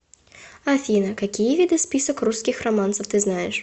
афина какие виды список русских романсов ты знаешь